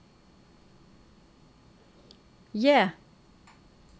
J